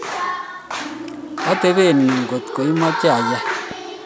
atebe yuu kotko imache ayai